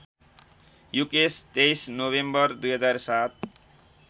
Yukesh २३ November २००७